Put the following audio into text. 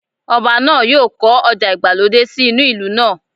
Ọba náà yóò kọ́ ọjà ìgbàlódé sí inú ìlú náà